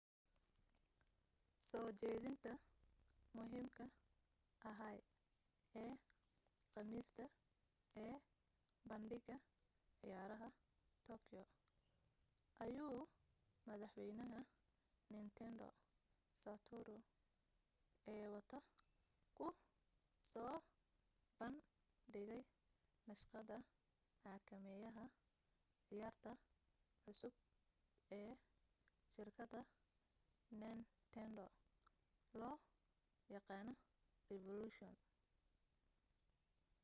soo jeedinta muhiimka ahaa ee khamiista ee bandhiga ciyaaraha tokyo ayuu madaxwaynaha nintendo satoru iwata ku soo bandhigay naqshada xakameeyaha ciyaarta cusub ee shirkadda nintendo loo yaqaano revolution